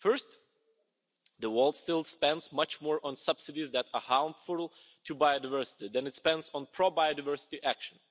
First, the world still spends much more on subsidies that are harmful to biodiversity than it spends on pro biodiversity action.